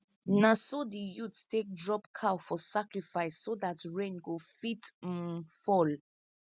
naso the youths take drop cow for sacrifice so dat rain go fit um fall